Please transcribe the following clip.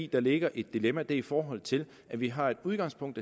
der ligger et dilemma det i forhold til at vi har et udgangspunkt